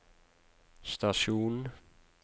stasjon